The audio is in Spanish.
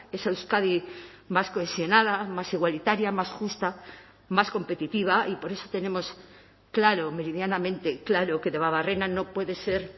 esa euskadi más cohesionada más igualitaria más justa más competitiva y por eso tenemos claro meridianamente claro que debabarrena no puede ser